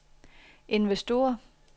investorer